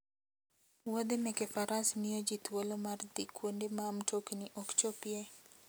Wuodhe meke faras miyo ji thuolo mar dhi kuonde ma mtokni ok chopie.